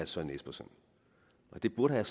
søren espersen og det burde herre